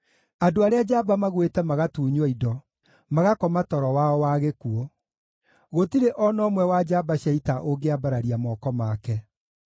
Andũ arĩa njamba magwĩte magatunywo indo, magakoma toro wao wa gĩkuũ; gũtirĩ o na ũmwe wa njamba cia ita ũngĩambararia moko make.